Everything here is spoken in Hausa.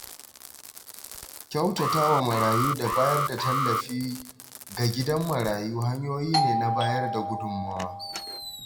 Kyautata wa marayu da bayar da tallafi ga gidan marayu hanyoyi ne na bayar da gudunmawa.